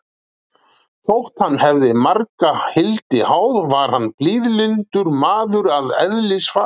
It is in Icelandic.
Þótt hann hefði marga hildi háð, var hann blíðlyndur maður að eðlisfari.